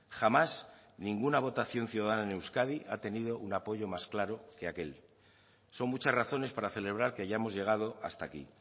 jamás ninguna votación ciudadana en euskadi ha tenido un apoyo más claro que aquel son muchas razones para celebrar que hayamos llegado hasta aquí